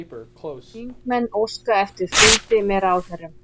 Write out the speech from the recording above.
Þingmenn óska eftir fundi með ráðherrum